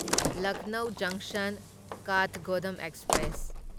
ꯂꯛꯅꯧ ꯖꯪꯁꯟ ꯀꯥꯊꯒꯣꯗꯥꯝ ꯑꯦꯛꯁꯄ꯭ꯔꯦꯁ